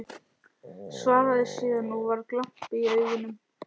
Svaraði síðan, og var glampi í augunum